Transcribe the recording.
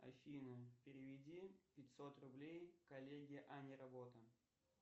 афина переведи пятьсот рублей коллеге аня работа